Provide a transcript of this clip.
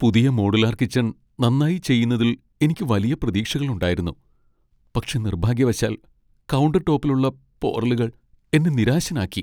പുതിയ modular kitchen നന്നായി ചെയ്യുന്നതിൽ എനിക്ക് വലിയ പ്രതീക്ഷകളുണ്ടായിരുന്നു, പക്ഷേ നിർഭാഗ്യവശാൽ, കൗണ്ടർടോപ്പിലുള്ള പോറലുകൾ എന്നെ നിരാശനാക്കി.